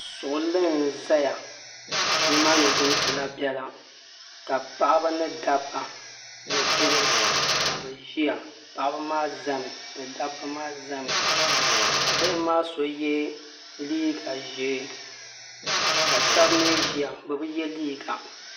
Suɣili n ʒɛya. Ni maa ni zimsi la bela. ka paɣaba ni dabba ni bihi, ka bɛ ʒɛya. Paɣaba maa ʒɛmi ni dabba maa ʒɛmi ka bihi maa so ye liiga ʒee ka shebi mi ʒɛya bɛ bi ye liiga.